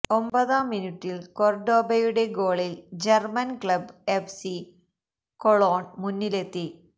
ഒമ്പതാം മിനുട്ടില് കൊര്ഡോബയുടെ ഗോളില് German club F C Cologne മുന്നിലെത്തി